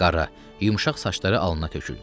Qara, yumşaq saçları alına töküldü.